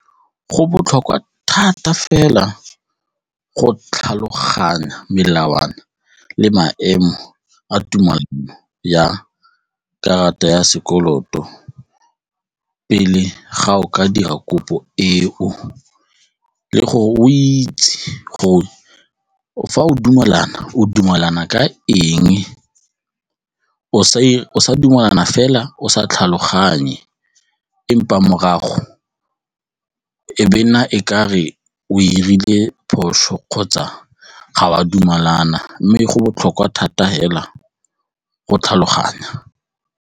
Go botlhokwa thata fela go tlhaloganya melawana le maemo a tumelano ya karata ya sekoloto pele ga o ka dira kopo eo le gore o itse gore fa o dumalana, o dumalana ka eng o sa dumelana fela o sa tlhaloganye empa morago e be e nna e ka re o dirile phoso kgotsa ga wa dumalana mme e go botlhokwa thata fela go tlhaloganya.